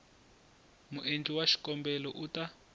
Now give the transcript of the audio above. muendli wa xikombelo u ta